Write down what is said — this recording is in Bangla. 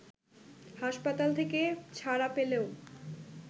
হাসপাতাল থেকে ছাড়া পেলেও